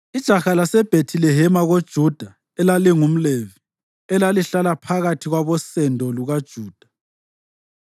Ijaha laseBhethilehema koJuda elalingumLevi, elalihlala phakathi kwabosendo lukaJuda,